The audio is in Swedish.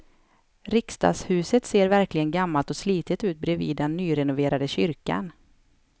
Riksdagshuset ser verkligen gammalt och slitet ut bredvid den nyrenoverade kyrkan.